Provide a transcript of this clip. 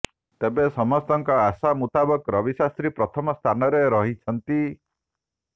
ତେବେ ସମସ୍ତଙ୍କ ଆଶା ମୁତାବକ ରବି ଶାସ୍ତ୍ରୀ ପ୍ରଥମ ସ୍ଥାନରେ ରହିଛନ୍ତି